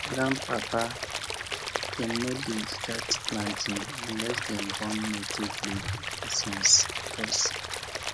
grandpapa dem no dey start planting unless dem burn native leaf incense first